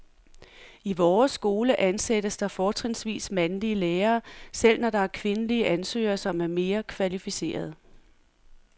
I vores skole ansættes der fortrinsvis mandlige lærere, selv når der er kvindelige ansøgere, som er mere kvalificerede.